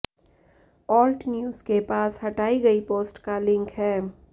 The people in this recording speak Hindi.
ऑल्ट न्यूज़ के पास हटाई गई पोस्ट का लिंक है